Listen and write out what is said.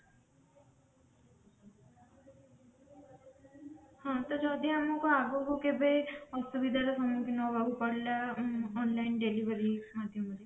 ହଁ ତ ଯଦି ଆମକୁ ଆଗକୁ କେବେ ଅସୁବିଧା ର ସମୁଖୀନ ହେବାକୁ ପଡିଲା online delivery ମାଧ୍ୟମରେ